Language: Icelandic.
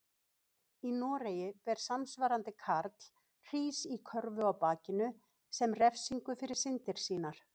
Í Noregi ber samsvarandi karl hrís í körfu á bakinu sem refsingu fyrir syndir sínar.